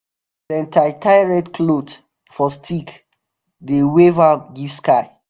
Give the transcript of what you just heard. dem tie tie red cloth for stick dey wave am give sky.